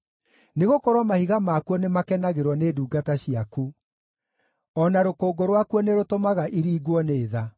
Nĩgũkorwo mahiga makuo nĩmakenagĩrwo nĩ ndungata ciaku; o na rũkũngũ rwakuo nĩrũtũmaga iringwo nĩ tha.